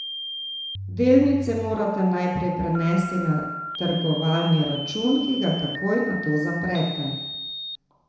Delnice morate najprej prenesti na trgovalni račun, ki ga takoj nato zaprete.